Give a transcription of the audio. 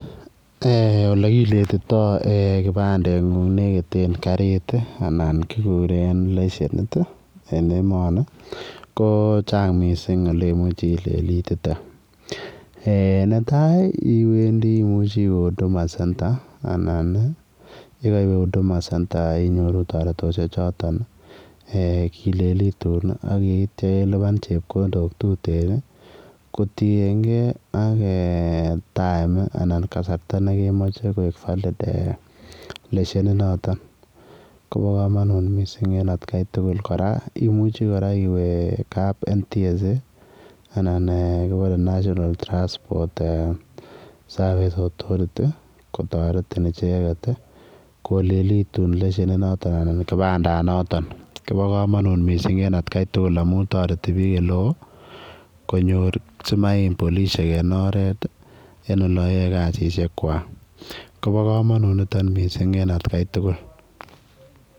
Eeh ole kiletitoi kibandeen nguung nekiteen kariit anan kiguren leshenit en emani ko chaang missing ele imuchi ilelitite eeh netai imuchei iweeh [huduma center] anan ii ye kaiweh huduma inyorui taretoshek chotoon eeh kilelituun ako yeitya ilupaan chepkondok tureen ii kotingei ak time anan. Kasarta nekemache koek valid eeh leshenit notooon koba kamanut en kai tuguul kora imuche iweeh kap NTSA anan eeh kibore [ national transport services authority] ii kotaretiin kilelituun leshenit notooon anan kipandaan notooon koba kamanut missing en at Kai tuguul amuun taretii biik ole wooh konyoor sims I'm polisiek en oret en olaan yarn kesisiet kwaak kobaa kamanut nitoon missing en at Kai tuguul.